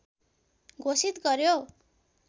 घोषित गर्‍यो